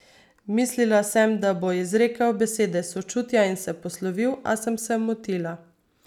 Mislila sem, da bo izrekel besede sočutja in se poslovil, a sem se motila.